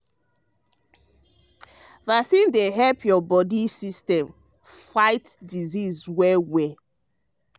um vaccine dey help your body um system fight disease well well.